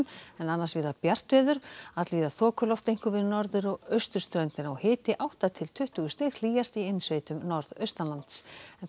en annars víða bjart veður allvíða þokuloft einkum við norður og austurströndina hiti átta til tuttugu stig hlýjast í innsveitum norðaustan lands